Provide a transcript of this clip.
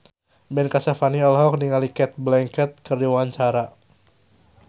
Ben Kasyafani olohok ningali Cate Blanchett keur diwawancara